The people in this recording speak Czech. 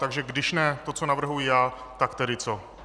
Takže když ne to, co navrhuji já, tak tedy co?